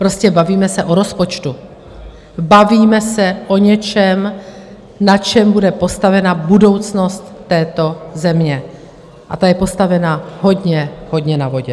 Prostě bavíme se o rozpočtu, bavíme se o něčem, na čem bude postavena budoucnost této země, a ta je postavena hodně, hodně na vodě.